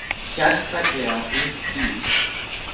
Sérstaklega ung dýr.